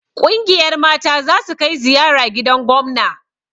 Ƙungiyar mata zasu kai ziyara gidan gomna